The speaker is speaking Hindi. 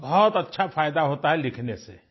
बहुतबहुत अच्छा फायदा होता है लिखने से